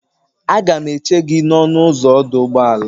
Aga m eche gị n'ọnụ ụzọ ọdụ ụgbọala.